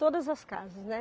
Todas as casas, né?